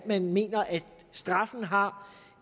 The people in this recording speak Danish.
man mener at straffen har